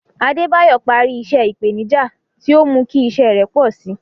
Adebayo parí iṣẹ́ ìpèníjà tí ó mú kí iṣẹ́ rẹ̀ pọ̀ sí i.